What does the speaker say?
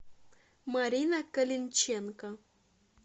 марина калинченко